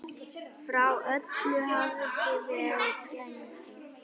Frá öllu hafði verið gengið.